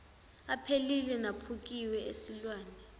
aphelile naphukile esilwane